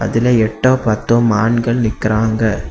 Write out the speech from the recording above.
இதுல எட்டோ பத்தோ மான்கள் நிக்கிறாங்க.